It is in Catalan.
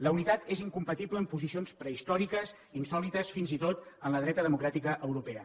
la unitat és incompatible amb posicions prehistòriques insòlites fins i tot en la dreta democràtica europea